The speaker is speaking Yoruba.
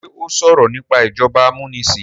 ṣe o sọrọ nipa ìjọba amunisin?